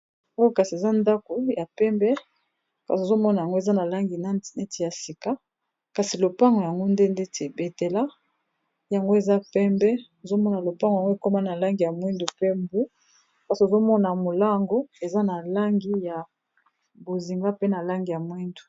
oyo kasi eza ndako ya pembe kasi tozomona yango eza na langi neti ya sika kasi lopango yango nde ndeti ebetela yango eza pembe ozomona lopango yango ekoma na langi ya mwindu pe mbo kasi ozomona molango eza na langi ya bozinga mpe na langi ya mwindu